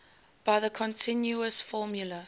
by the continuous formula